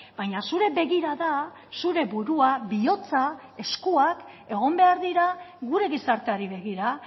baina zure begirada zure burua bihotza eskuak egon behar dira gure gizarteari begira